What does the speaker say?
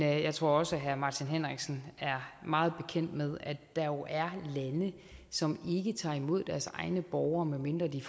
jeg tror også herre martin henriksen er meget bekendt med at der jo er lande som ikke tager imod deres egne borgere medmindre de